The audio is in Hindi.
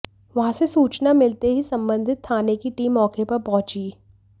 वहां से सूचना मिलते ही संबंधित थाने की टीम मौके पर पहुंची